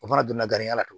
O fana donna garanya la tugun